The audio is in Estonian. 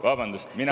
Vabandust, mina …